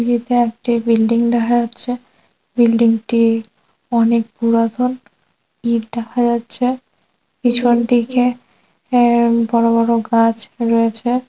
ছবিতে একটি বিল্ডিং দেখা যাচ্ছে বিল্ডিংটি অনেক পুরাতন ইট দেখা যাচ্ছে্‌ পিছন দিকে আ-বড় বড় গাছ রয়েছে।